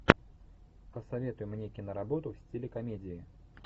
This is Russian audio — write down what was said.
посоветуй мне киноработу в стиле комедии